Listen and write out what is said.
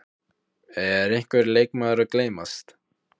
Er einhver leikmaður að gleymast?